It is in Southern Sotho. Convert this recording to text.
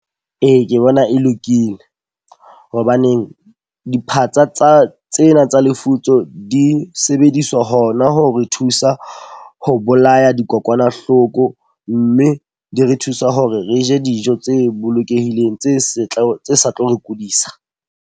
Ee, ke bona e lokile. Hobaneng diphatsa tsa tsena tsa lefutso di sebediswa ho na ho re thusa ho bolaya dikokwanahloko. Mme di re thusa hore re je dijo tse bolokehileng tse setla, tse sa tlo re kudisa.